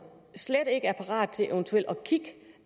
slet ikke er parat til eventuelt